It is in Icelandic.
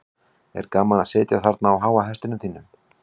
er gaman að sitja þarna á háa hestinum þínum